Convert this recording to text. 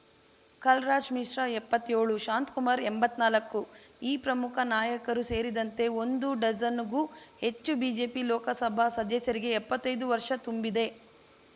ಕಲ್‌ರಾಜ್ ಮಿಶ್ರಾ ಎಪ್ಪತ್ತೇಳು ಶಾಂತಕುಮಾರ್ ಎಂಬತ್ನಾಲ್ಕು ಈ ಪ್ರಮುಖ ನಾಯಕರು ಸೇರಿದಂತೆ ಒಂದು ಡಜನ್‌ಗೂ ಹೆಚ್ಚು ಬಿಜೆಪಿ ಲೋಕಸಭಾ ಸದಸ್ಯರಿಗೆ ಎಪ್ಪತ್ತೈದು ವರ್ಷ ತುಂಬಿದೆ